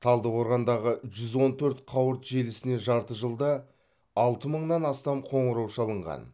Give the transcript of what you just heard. талдықорғандағы жүз он төрт қауырт желісіне жарты жылда алты мыңнан астам қоңырау шалынған